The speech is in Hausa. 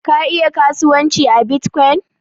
Ka iya kasuwanci a Bitcoin?